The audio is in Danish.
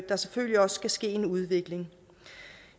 der selvfølgelig også skal ske en udvikling